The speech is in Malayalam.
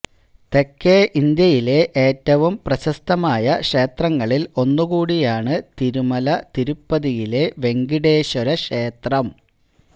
തെക്കേ ഇന്ത്യയിലെ ഏറ്റവും പ്രശസ്തമായ ക്ഷേത്രങ്ങളില് ഒന്നുകൂടിയാണ് തിരുമല തിരുപ്പതിയിലെ വെങ്കടേശ്വര ക്ഷേത്രം